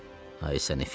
Ay səni Fibi.